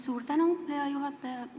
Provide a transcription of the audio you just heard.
Suur tänu, hea juhataja!